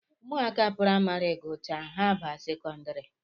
Ụmụaka praịmarị gụchaa, ha abaa sekondari